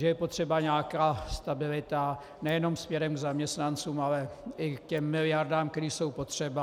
Že je potřeba nějaká stabilita nejenom směrem k zaměstnancům, ale i k těm miliardám, které jsou potřeba.